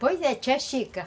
Pois é.